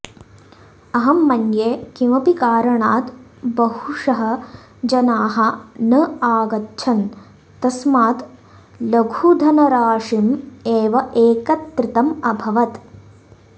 अहं मन्ये किमपि कारणात् बहुशः जनाः न आगच्छन् तस्मात् लघुधनराशीम् एव एकत्रितम् अभवत्